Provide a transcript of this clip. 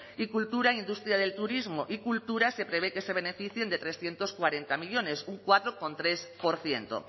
y cultura industria del turismo y cultura se prevé que se beneficien de trescientos cuarenta millónes un cuatro coma tres por ciento